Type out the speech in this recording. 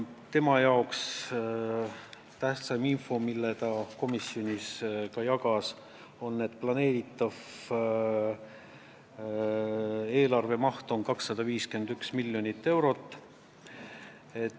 Tema jaoks oli tähtsaim info, mida ta ka komisjoniga jagas, see, et planeeritav eelarve maht on 251 miljonit eurot.